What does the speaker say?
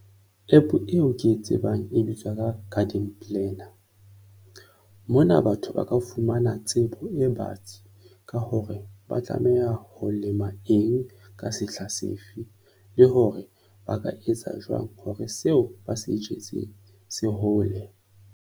App-o eo ke e tsebang e bitswa ka Garden Planner. Mona batho ba ka fumana tsebo e batsi ka hore ba tlameha ho lema eng ka sehla sefe, le hore ba ka etsa jwang hore seo ba se jetseng se hole.